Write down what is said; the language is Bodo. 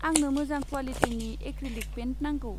आंनो मोजां क्वालिटिनि एक्रिलिक पेइन्ट नांगौ।